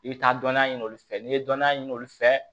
I bɛ taa dɔnniya ɲini olu fɛ n'i ye dɔnniya ɲini olu fɛ